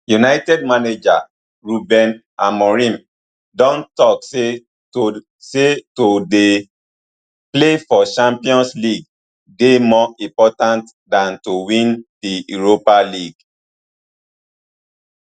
united manager ruben amorim don tok say to say to dey play for champions league dey more important dan to win di europa league